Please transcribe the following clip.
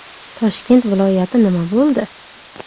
Toshkent viloyati nima bo‘ldi?